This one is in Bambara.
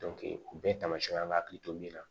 o bɛɛ tamasiyɛnw y'an hakili to min na